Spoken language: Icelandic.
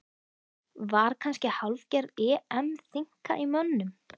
Var kannski hálfgerð EM þynnka í mönnum?